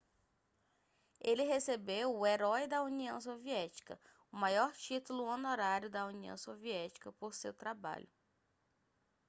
ele recebeu o herói da união soviética o maior título honorário da união soviética por seu trabalho